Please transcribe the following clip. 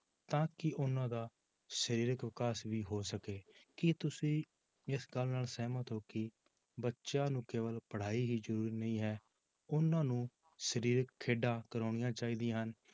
ਤਾਂ ਕਿ ਉਹਨਾਂ ਦਾ ਸਰੀਰਕ ਵਿਕਾਸ ਵੀ ਹੋ ਸਕੇ, ਕੀ ਤੁਸੀਂ ਇਸ ਗੱਲ ਨਾਲ ਸਹਿਮਤ ਹੋ ਕਿ ਬੱਚਿਆਂ ਨੂੰ ਕੇਵਲ ਪੜ੍ਹਾਈ ਹੀ ਜ਼ਰੂਰੀ ਨਹੀਂ ਹੈ ਉਹਨਾਂ ਨੂੰ ਸਰੀਰਕ ਖੇਡਾਂ ਕਰਵਾਉਣੀਆਂ ਚਾਹੀਦੀਆਂ ਹਨ।